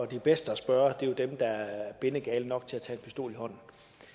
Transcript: de bedste at spørge er jo dem der er bindegale nok til at tage en pistol i hånden